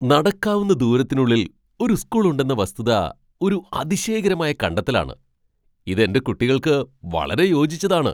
നടക്കാവുന്ന ദൂരത്തിനുള്ളിൽ ഒരു സ്കൂൾ ഉണ്ടെന്ന വസ്തുത ഒരു അതിശയകരമായ കണ്ടെത്തലാണ്. ഇത് എന്റെ കുട്ടികൾക്ക് വളരെ യോജിച്ചതാണ്.